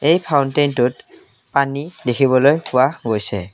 এই ফাউন্তেইনটোত পানী দেখিবলৈ পোৱা গৈছে।